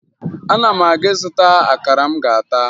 Ana m aga ịzụta akara m ga-ata